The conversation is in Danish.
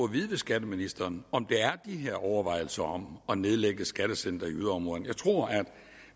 vide af skatteministeren om der er de her overvejelser om at nedlægge skattecentre i yderområderne jeg tror at